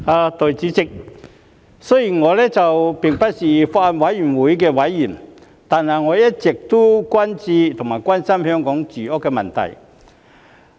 代理主席，雖然我並不是法案委員會的委員，但我一直都很關注和關心香港的住屋問題。